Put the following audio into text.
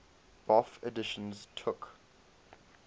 bofh editions took